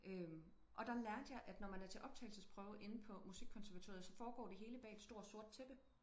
Øh og der lærte jeg at når man er til optagelsesprøve inde på musikkonservatoriet så foregår det hele bag et stort sort tæppe